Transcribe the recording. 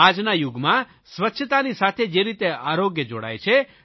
આજના યુગમાં સ્વચ્છતાની સાથે જે રીતે આરોગ્ય જોડાય છે